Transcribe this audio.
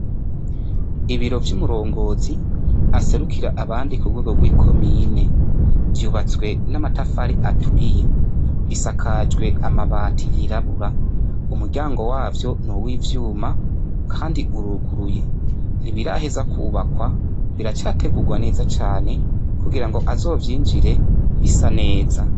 Ibiro vy'umurongozi aserukira abandi ku rwego rw ' ikomine vyubatswe n'amatafari aturiye bisakajwe amabati yirabura, umuryango wavyo nuw' ivyuma kandi uruguruye .Ntibirahezwa kwubakwa biracategurwa neza cane kugira azovyinjire bisa neza.